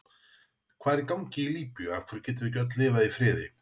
Hvað er í gangi í Líbíu, af hverju getum við ekki öll lifað í friði?